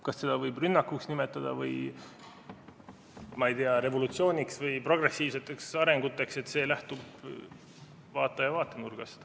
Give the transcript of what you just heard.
Kas seda võib nimetada rünnakuks, või ma ei tea, revolutsiooniks või progressiivseks arenguks, see lähtub vaataja vaatenurgast.